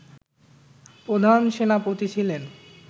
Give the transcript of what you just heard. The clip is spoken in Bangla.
প্রধান সেনাপতি ছিলেন